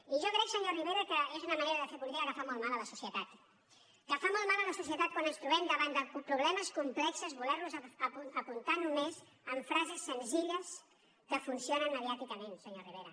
i jo crec senyor rivera que és una manera de fer política que fa molt mal a la societat que fa molt mal a la societat quan ens trobem davant de problemes complexos voler los apuntar només amb frases senzilles que funcionen mediàticament senyor rivera